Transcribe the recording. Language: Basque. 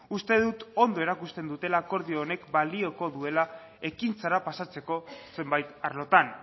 uste dut ondo erakusten dutela akordio honek balioko duela ekintzara pasatzeko zenbait arlotan